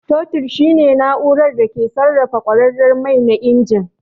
Totir shine na'urar da ke sarrafa kwararar mai na injin.